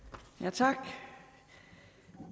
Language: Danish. tak